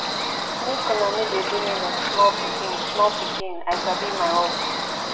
make una no dey do me like small pikin small pikin i sabi my work